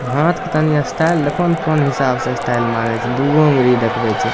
हाथ के तनी स्टाइल देखो ने कोन हिसाब से स्टाइल मारे छै दूगो अंगूरी देखवे छै।